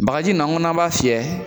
Bakaji in n'an k'an m'a fiyɛ